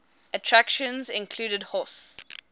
attractions included horse